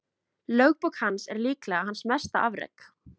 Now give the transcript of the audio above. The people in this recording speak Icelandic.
Lögbók hans er líklega hans mesta afrek.